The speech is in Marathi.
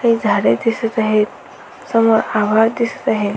ते झाड़े दिसत आहे समोर हवा दिसत आहे.